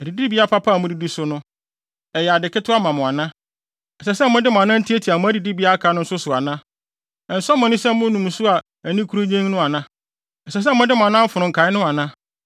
Adidibea papa a mudidi so no, ɛyɛ ade ketewa ma mo ana? Ɛsɛ sɛ mode mo anan tiatia mo adidibea a aka no nso so ana? Ɛnsɔ mo ani sɛ monom nsu a ani yɛ kurunnyenn ana? Ɛsɛ sɛ mode mo anan fono nkae no ana?